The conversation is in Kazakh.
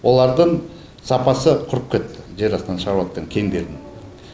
олардың сапасы құрып кетті жер астынан шығыпватқан кендердің